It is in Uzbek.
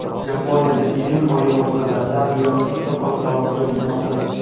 Yaponiyada iyun oyi o‘rtalaridan buyon issiq ob-havo kuzatilmoqda.